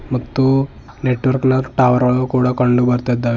ಮತ್ತು ನೆಟ್ವರ್ಕ ನ ಟವರ್ ಗಳು ಕಂಡು ಬರ್ತೀದ್ದಾವೆ.